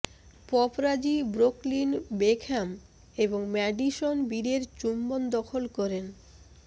paparazzi Brooklyn Beckham এবং Madison বীরের চুম্বন দখল করেন